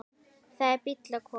Það er bíll að koma.